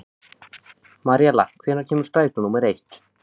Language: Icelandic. Maríella, hvenær kemur strætó númer eitt?